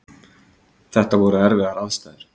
Þetta voru erfiðar aðstæður